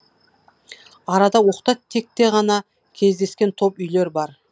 арада оқта текте ғана кездескен топ үйлер бар